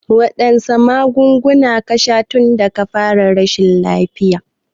Waɗanne magunguna ka sha tunda ka fara rashin lafiya?